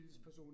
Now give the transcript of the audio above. Men